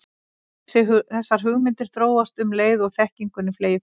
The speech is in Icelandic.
Þessar hugmyndir þróast um leið og þekkingunni fleygir fram.